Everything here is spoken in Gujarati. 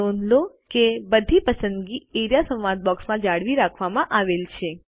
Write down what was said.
નોંધ લો કે બધી પસંદગી એઆરઇએ સંવાદ બોક્સમાં જાળવી રાખવામાં આવેલ છે